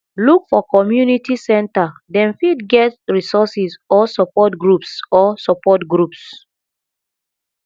look for community center dem fit get resources or support groups or support groups